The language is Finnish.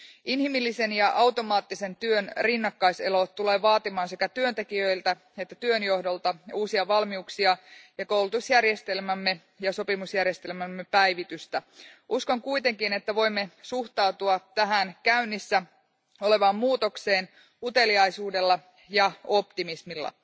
Inhimillisen ja automaattisen työn rinnakkaiselo tulee vaatimaan sekä työntekijöiltä että työnjohdolta uusia valmiuksia ja koulutusjärjestelmämme ja sopimusjärjestelmämme päivitystä. Uskon kuitenkin, että voimme suhtautua tähän käynnissä olevaan muutokseen uteliaisuudella ja optimismilla.